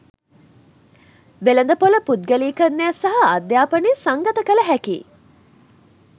වෙළඳපොළ පුද්ගලීකරණය සහ අධ්‍යාපනය සංගත කළ හැකි